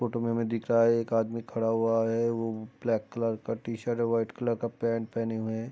Photo में हमे दिख रहा हैं। एक आदमी खड़ा हुआ हैं। वो ब्लैक कलर की टी-शर्ट है। वाइट कलर का पैंट पहने हुए हैं।